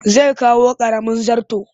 Zai kawo ƙaramin zarton